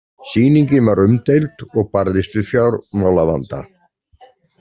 Sýningin var umdeild og barðist við fjármálavanda.